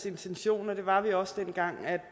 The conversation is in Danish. intention og det var vi også dengang